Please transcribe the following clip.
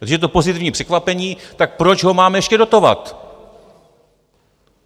Když je to pozitivní překvapení, tak proč ho máme ještě dotovat?